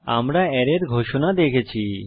আমরা অ্যারের ঘোষণা দেখেছি